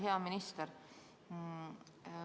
Hea minister!